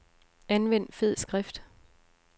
Anvend fed skrift.